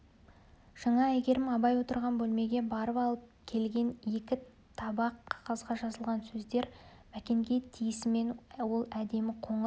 жаңа әйгерім абай отырған бөлмеге барып алып келген екі табақ қағазға жазылған сөздер мәкенге тиісімен ол әдемі қоңыр